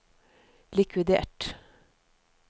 likvidert